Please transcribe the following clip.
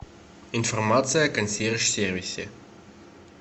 информация о консьерж сервисе